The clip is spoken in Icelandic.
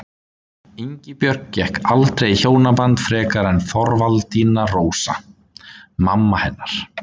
Ingibjörg gekk aldrei í hjónaband frekar en Þorvaldína Rósa, mamma hennar.